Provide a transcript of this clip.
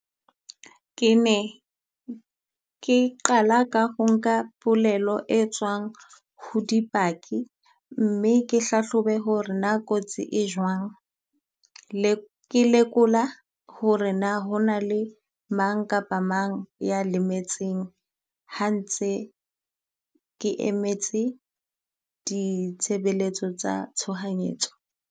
Ke ne ke qala ka ho nka polelo e tswang ho dipaki mme ke hlahlobe ho re na kotsi e jwang. Le ke lekola ho re na ho na le mang kapa mang ya lemetseng ha ntse ke emetse ditshebeletso tsa tshohanyetso.